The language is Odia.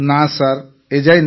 ନା ସାର୍ ଏଯାଏ ନେଇନି